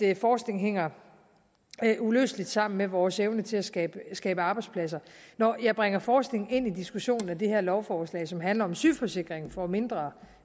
at forskning hænger uløseligt sammen med vores evne til at skabe skabe arbejdspladser når jeg bringer forskning ind i diskussionen af det her lovforslag som handler om sygeforsikringen for mindre